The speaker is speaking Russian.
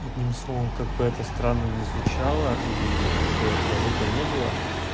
одним словом как бы это странно не звучало и как бы это глупо не было